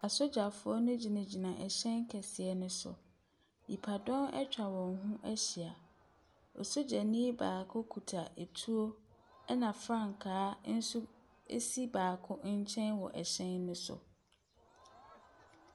Asogyafoɔ no gyinagyina ɛhyɛn kɛseɛ no so. Nipadɔm atwa wɔn ho ahyia. Ɔsogyano baako kita tuo, ɛna frankaa nso si baako nkyɛn wɔ ɛhyɛn no so.